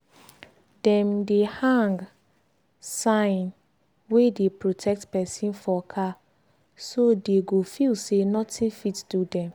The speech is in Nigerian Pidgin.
dem dey hang sign wey dey protect person for car so dey go feel say nothing fit do dem.